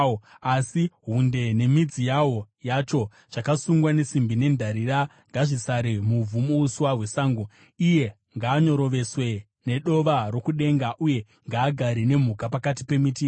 Asi hunde nemidzi yawo, yacho zvakasungwa nesimbi nendarira, ngazvisare muvhu, muuswa hwesango. “ ‘Ngaanyoroveswe nedova rokudenga, uye ngaagare nemhuka pakati pemiti yenyika.